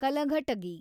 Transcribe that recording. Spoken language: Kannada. ಕಲಘಟಗಿ